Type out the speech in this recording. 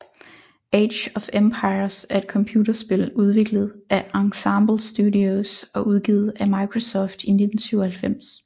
Age of Empires er et computerspil udviklet af Ensemble Studios og udgivet af Microsoft i 1997